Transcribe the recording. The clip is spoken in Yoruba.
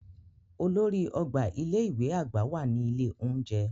Olórí ọgbà ilé ìwé àgbà wà ní ilé oúnjẹ.